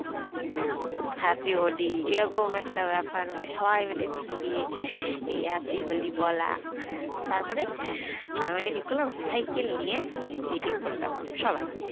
happy Holi এরকম একটা ব্যাপার মানে সবাই মিলে চিল্লিয়ে এই happy হলি বলা তারপরে সবাই মিলে ঠিক করলাম cycle নিয়ে বেরিয়ে পোড়লাম সবাই